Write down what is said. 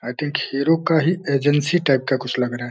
आई think Hero का ही agency type का कुछ लग रहा है।